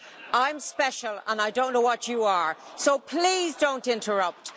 I am special, and I do not know what you are, so please, don't interrupt.